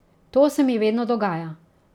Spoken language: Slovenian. To se mi vedno dogaja.